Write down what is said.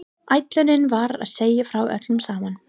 Ætlunin var að segja frá öllu saman.